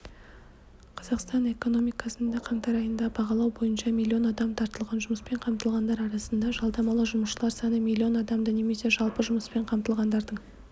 қазақстан экономикасында қаңтар айында бағалау бойынша миллион адам тартылған жұмыспен қамтылғандар арасында жалдамалы жұмысшылар саны млн адамды немесе жалпы жұмыспен қамтылғандардың